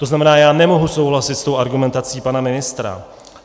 To znamená, já nemohu souhlasit s tou argumentací pana ministra.